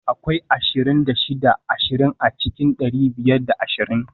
Akwai ashirin da shida ashirin a cikin dari biyar da ashirin